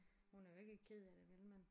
Hun er jo ikke ked af det vel men